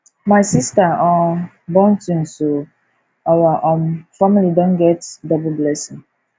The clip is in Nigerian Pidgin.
my sista um born twins o our um family don get double blessing